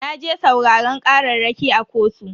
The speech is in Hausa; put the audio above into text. Naje sauraran kararraki a kotu.